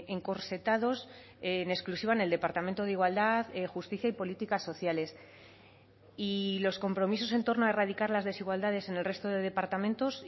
encorsetados en exclusiva en el departamento de igualdad justicia y políticas sociales y los compromisos en torno a erradicar las desigualdades en el resto de departamentos